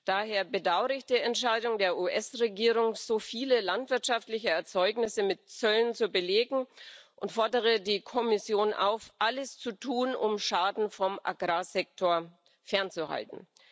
Daher bedaure ich die Entscheidung der US Regierung, so viele landwirtschaftliche Erzeugnisse mit Zöllen zu belegen, und fordere die Kommission auf, alles zu tun, um Schaden vom Agrarsektor fernzuhalten.